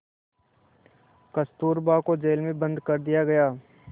कस्तूरबा को जेल में बंद कर दिया गया